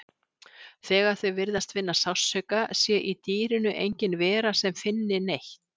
Þegar þau virðist finna sársauka sé í dýrinu engin vera sem finni neitt.